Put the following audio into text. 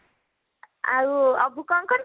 ଆଉ ଅବୁ କଣ କରୁଚି?